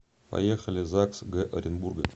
поехали загс г оренбурга